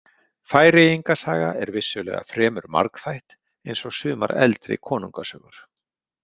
Færeyinga saga er vissulega fremur margþætt, eins og sumar eldri konungasögur.